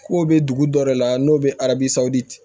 K'o bɛ dugu dɔ de la n'o bɛ arabusa de